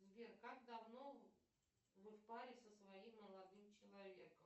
сбер как давно вы в паре со своим молодым человеком